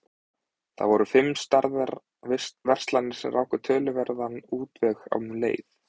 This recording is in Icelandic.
Það voru fimm stærðar verslanir sem ráku töluverðan útveg um leið.